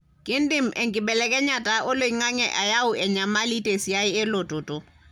kindim enkibelekenyata oloingange ayau enyamali tesiai elototo.